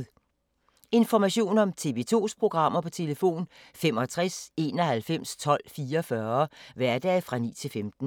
Information om TV 2's programmer: 65 91 12 44, hverdage 9-15.